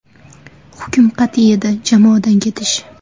Hukm qat’iy edi jamoadan ketish.